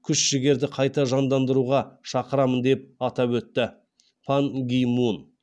күш жігерді қайта жандандыруға шақырамын деп атап өтті пан ги мун